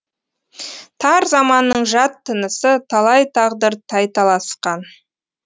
тар заманның жат тынысыталай тағдыр тайталасқан